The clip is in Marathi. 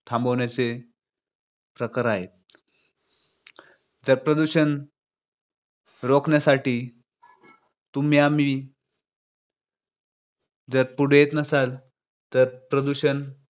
थांबवण्याचे प्रकार आहेत. जर प्रदूषण रोखण्यासाठी तुम्ही आम्ही जर पुढे येत नसाल तर प्रदूषण